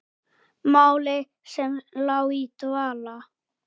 Máli sem lá í dvala!